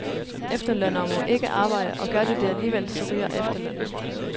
Efterlønnere må ikke arbejde, og gør de det alligevel, så ryger efterlønnen.